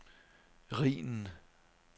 Rhinen